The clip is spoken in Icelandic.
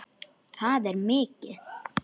Það er mikið.